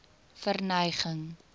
verneging